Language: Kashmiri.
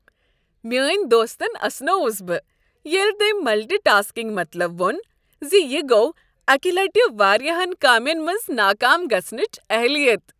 میٲنۍ دوستن اسنووُس بہٕ ییٚلہ تٔمۍ ملٹی ٹاسکنگ مطلب وُن زِ یہ گو اکہ لٹہ واریاہن کامین منز ناکام گژھنٕچ اہلیت ۔